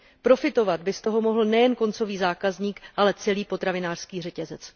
Profitovat by z toho mohl nejen koncový zákazník, ale celý potravinářský řetězec.